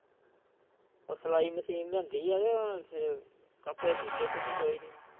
ਉਹ ਸਿਲਾਈ ਮਸ਼ੀਨ ਲਿਆਂਦੀ ਹੈ ਤੇ ਕੱਪੜੇ ਸੀਤੇ ਤੁਸੀ ਕੋਈ ਨਹੀਂ।